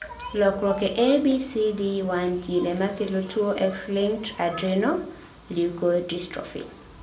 lokruok e ABCD1 gene emakelo tuwo X-linked adrenoleukodystrophy.